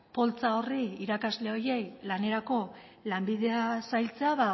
poltsa horri irakasle horiei lanerako lanbidea zailtzea